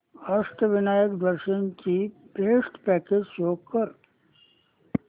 अष्टविनायक दर्शन ची best packages show कर